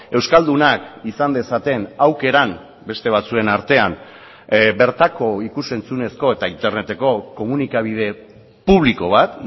euskaldunak izan dezaten aukeran beste batzuen artean bertako ikus entzunezko eta interneteko komunikabide publiko bat